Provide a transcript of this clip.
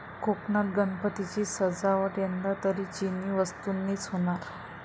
कोकणात गणपतींची सजावट यंदा तरी चिनी वस्तूंनीच होणार